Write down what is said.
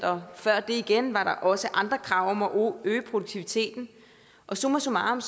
og før det igen var der også andre krav om at øge produktiviteten summa summarum